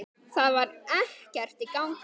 Það var ekkert í gangi.